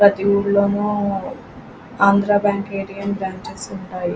ప్రతి ఊరలవేమో Andhra Bank A. T. M లు పనిచేస్తుంటాయి.